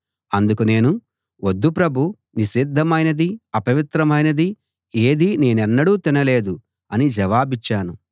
అందుకు నేను వద్దు ప్రభూ నిషిద్ధమైనది అపవిత్రమైనది ఏదీ నేనెన్నడూ తినలేదు అని జవాబిచ్చాను